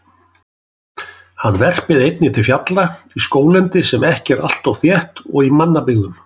Hann verpir einnig til fjalla, í skóglendi sem ekki er alltof þétt og í mannabyggðum.